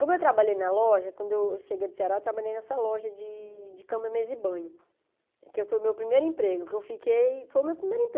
Como eu trabalhei na loja, quando eu cheguei do Ceará, eu trabalhei nessa loja de de cama, mesa e banho, que foi o meu primeiro emprego, que eu fiquei, foi o meu primeiro emprego.